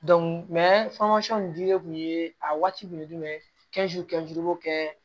nin dili kun ye a waati kun ye jumɛn ye i b'o kɛ